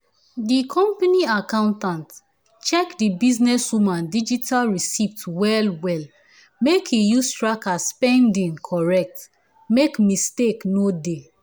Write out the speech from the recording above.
di company accountant check the businesswoman digital receipts well well make e use track her spending correct make mistake no dey